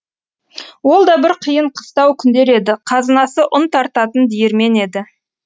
ол да бір қиын қыстау күндер еді қазынасы ұн тартатын диірмен еді